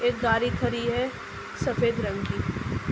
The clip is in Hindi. एक गाड़ी खड़ी है सफेद रंग की।